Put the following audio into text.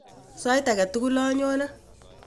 Sait ake tukul anyone.